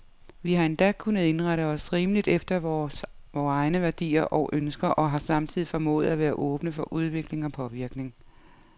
Vi har endda kunnet indrette os rimeligt efter vore egne værdier og ønsker, og har samtidig formået at være åbne for udvikling og påvirkning.